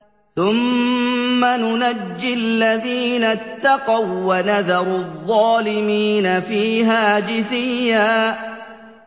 ثُمَّ نُنَجِّي الَّذِينَ اتَّقَوا وَّنَذَرُ الظَّالِمِينَ فِيهَا جِثِيًّا